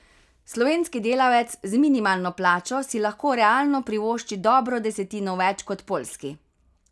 Slovenski delavec z minimalno plačo si lahko realno privošči dobro desetino več kot poljski.